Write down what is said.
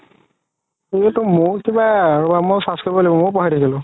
কিবা ৰবা মইও search কৰিব লাগিব মইও পাহৰি থাকিলো